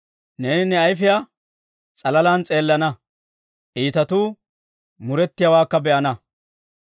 Neeni ne ayifiyaa s'alalaan s'eelana; iitatuu murettiyaawaakka be'ana.